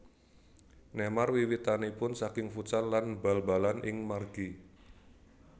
Neymar wiwitanipun saking futsal lan bal balan ing margi